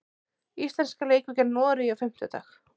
Íslenska leikur gegn Noregi á fimmtudag.